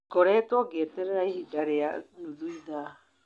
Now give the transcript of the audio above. Ngoretwo ngieterera ihinda rĩa nuthu ithaa